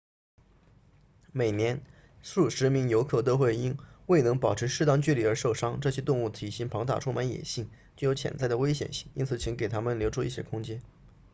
每年数十名游客都会因未能保持适当距离而受伤这些动物体型庞大充满野性具有潜在的危险性因此请给它们留出一些空间